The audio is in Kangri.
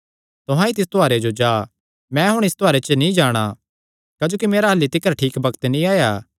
तुहां ई तिस त्योहारे जो जा मैं हुण इस त्योहारे च नीं जाणा क्जोकि मेरा अह्ल्ली तिकर ठीक बग्त नीं आया